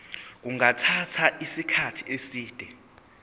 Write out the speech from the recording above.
kungathatha isikhathi eside